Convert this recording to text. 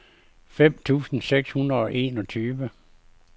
fem tusind seks hundrede og enogtyve